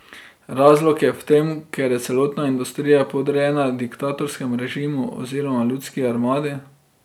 Razlog je v tem, ker je celotna industrija podrejena diktatorskemu režimu oziroma ljudski armadi.